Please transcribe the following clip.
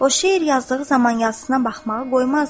O şeir yazdığı zaman yazısına baxmağı qoymazdı.